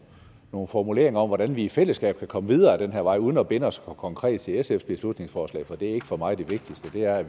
nogle formuleringer om hvordan vi i fællesskab kan komme videre ad den her vej uden at binde os konkret til sfs beslutningsforslag for det er ikke for mig det vigtigste er at